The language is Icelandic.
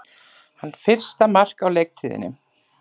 Hans fyrsta mark á leiktíðinni